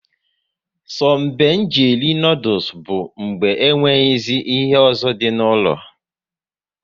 So be nji eri noodules bụ mgbe e nweghịzi ihe ọzọ dị n'ụlọ